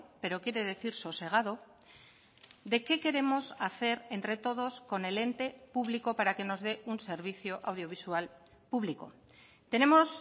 pero quiere decir sosegado de qué queremos hacer entre todos con el ente público para que nos dé un servicio audiovisual público tenemos